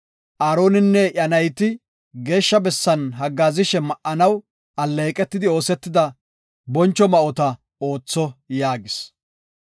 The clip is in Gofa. Aaroninne iya nayti Geeshsha bessan haggaazishe ma7anaw alleeqetidi oosetida boncho ma7ota ootho” yaagis.